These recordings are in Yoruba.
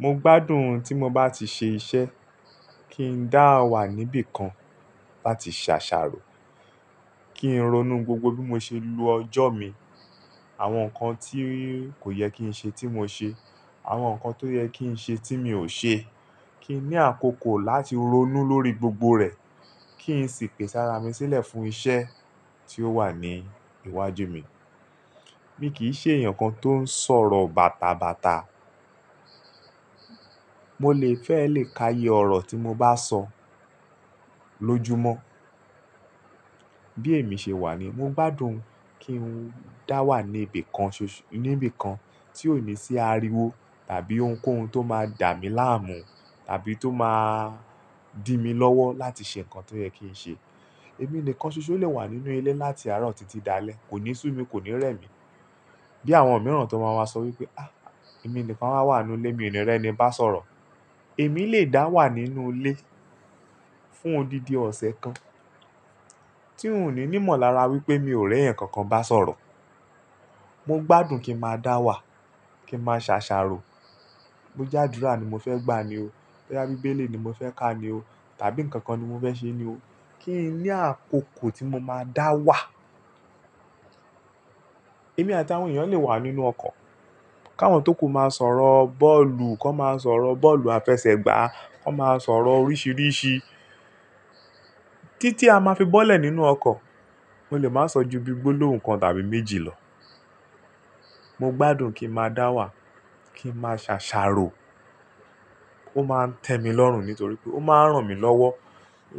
Mo gbádùn tí mo bá ti ṣe iṣẹ́, kí n dá wà níbi kan, láti ṣe àṣààrò, kí n ronú gbogbo bí mo ṣe lo ọjọ́ mìí. Àwọn nǹkan tí kò yẹ kí n ṣe tí mo ṣe, àwọn nǹkan tó yẹ kí n ṣe tí mi ò ṣe. Kí n ní àkókò láti ronú lórí gbogbo rẹ̀, kí n sì pèse ára mi sílẹ̀ fún iṣẹ́ tí ó wà ní iwájú mi. Mi kì í ṣe èèyàn kan tó ń sọ̀rọ̀ bàtàbàtà. Mo lè fẹ́ lè ka iye ọ̀rọ̀ tí mo bá sọ lóju mọ́. Bí èmi ṣe wà ni mo gbádùn kí n dá wà ní ibi kan ṣoṣo-, níbi kan tí ó ní sí ariwo tàbí ohunkóhun tó máa dà mí láàmú tàbí tó máa dí mi lọ́wọ́ láti ṣe nǹkan tó yẹ kí n ṣe. Èmi nìkan ṣoṣo lè wà nínú ilé láti àárọ̀ títí dalẹ́, kò ní sú mi, kò ní rẹ́ mi. Bí àwọn mìíràn tó má máa sọ wípé, "Ah, èmi nìkan á wà wà nù ilé, mi ní rí ẹni bá sọ̀rọ̀". Èmi lè dá wà nínú ilé fún òdidi ọ̀sẹ̀ kan, tí un ò ní ímọ̀lára wípé mi ò rẹ́ èèyàn kankan bá sọ̀rọ̀. Mo gbádùn kí n máa dá wà, kí n máa ṣàṣàrò. Bó já'dúrà ni mo fẹ́ gbà ni o, bóyá Bíbélì ni mo fẹ́ ká ni o tàbí nǹkan kan ni mo fẹ́ ṣe ni o. Kí n ní àkókò tí mo máa dá wà. Èmi àti àwọn èèyàn lè wà nínú ọkọ̀, káwọn tókù máa sọ̀rọ̀ bọ́ọ̀lù, kọ́ máa sọ̀rọ̀ bọ́ọ̀lù àfẹsẹ̀gbá, kọ́ máa sọ̀rọ̀ oríṣìíríṣìí. Títí a máa fi bọ́lẹ̀ nínú ọkọ̀, mo lè máa sọ ju bí gbólóhùn kan tàbí méjì lọ. Mo gbádùn kí n máa dá wà, kí n máa ṣàṣàrò. Ó máa ń tẹ mi lọ́rùn nítorí pé ó máa ń ràn mí lọ́wọ́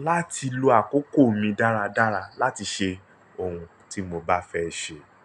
láti lo àkókò mi dáradára láti ṣe ohun tí mo bá fẹ́ ṣe.